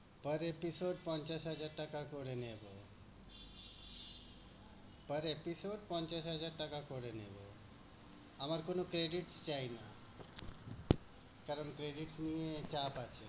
Per episode পঞ্চাশ হাজার টাকা করে নেবো। Per episode পঞ্চাশ হাজার টাকা করে নেবো। আমার কোনো credit চাই না। কারণ credit নিয়ে চাপ আছে।